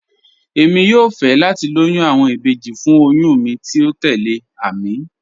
Èmi yóò fẹ́ láti lòyún awọn ìbéjì fún òyùn mi tí o tẹlẹ̀, Àmín.